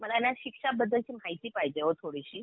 मला ना शिक्षा बद्दलची माहिती पाहिजे आहे ओ थोडीशी.